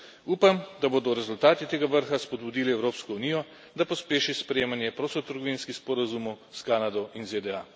Upam, da bodo rezultati tega vrha spodbudili Evropsko unijo, da pospeši sprejemanje prostotrgovinskih sporazumov s Kanado in ZDA.